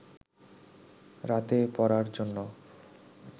রাতে পড়ার জন্য